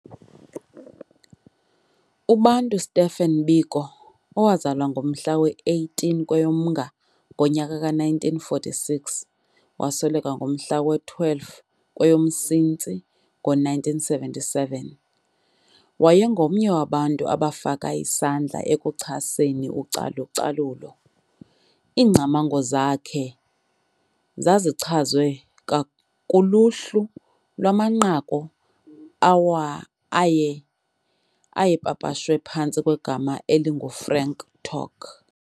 UBantu Stephen Biko, owazalwa ngomhla we-18 kweyoMnga ngo-1946 wasweleka ngomhla we-12 kweyoMsintsi ngo-1977, wayengomnye wabantu abafaka isandla ekuchaseni ucalu-calulo. Iingcamango zakhe zazichazwe kuluhlu lwamanqaku ayepapashwe phantsi kwegama elingu "Frank Talk".